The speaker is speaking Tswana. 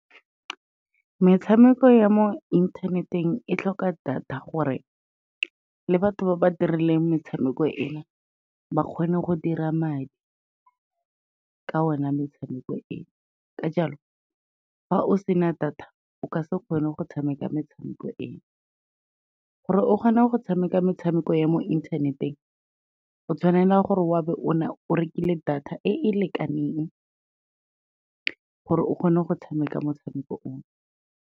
Metshameko ya mo inthaneteng e tlhoka data gore le batho ba ba dirileng metshameko ena, ba kgone go dira madi ka ona metshameko eo, ka jalo fa o sena data o ka se kgone go tshameka metshameko eo. Gore o kgone go tshameka metshameko ya mo inthaneteng, o tshwanela gore wa bo o rekile data e e lekaneng, gore o kgone go tshameka motshameko o.